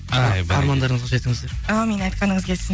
ай армандарыңызға жетіңіздер әумин айтқаныңыз келсін